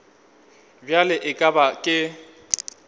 bjale e ka ba ke